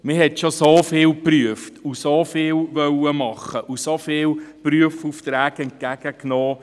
Man hat schon so vieles geprüft, so vieles machen wollen und so viele Prüfaufträge entgegengenommen.